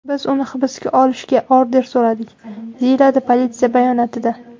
Biz uni hibsga olishga order so‘radik”, deyiladi politsiya bayonotida.